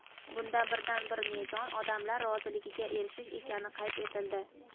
Bunda birdan-bir mezon – odamlar roziligiga erishish ekani qayd etildi.